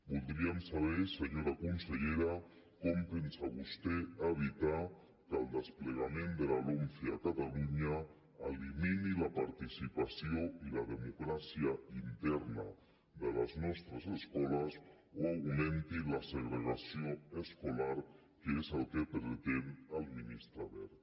voldríem saber senyora consellera com pensa vostè evitar que el desplegament de la lomce a catalunya elimini la participació i la democràcia interna de les nostres escoles o augmenti la segregació escolar que és el que pretén el ministre wert